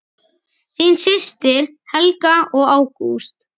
Þín systir Helga og Ágúst.